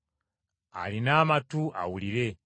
Alina amatu awulire.